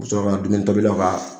U bi sɔrɔ ka dumuni tobilaw ka